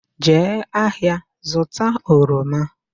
Jee ahịa zụta oroma!